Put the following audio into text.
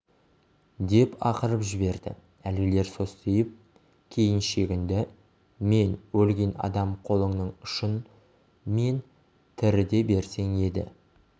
деп ақырып жіберді әлгілер состиып кейін шегінді мен өлген адам қолыңның ұшын мен тіріде берсең еді